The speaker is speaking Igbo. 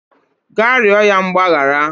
Gaa rịọ ya mgbaghara